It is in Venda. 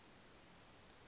davhana